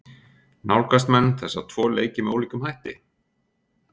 Nálgast menn þessa tvo leiki með ólíkum hætti?